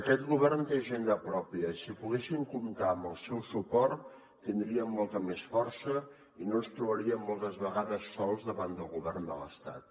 aquest govern té agenda pròpia i si poguéssim comptar amb el seu suport tindríem molta més força i no ens trobaríem moltes vegades sols davant del govern de l’estat